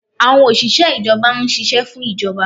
Awọn oṣiṣẹ ijọba n ṣiṣẹ fun ijọba